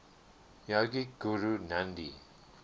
yogic guru nandhi